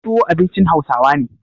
Tuwo abincin Hausawa ne.